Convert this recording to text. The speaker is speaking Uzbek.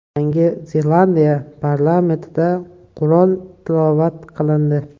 Yangi Zelandiya parlamentida Qur’on tilovat qilindi.